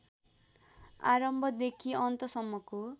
आरम्भदेखि अन्तसम्मको